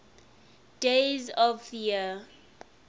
days of the year